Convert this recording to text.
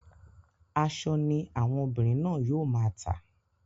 Aṣọ ní àwọn ọmọbìnrin náà yóò máa tà.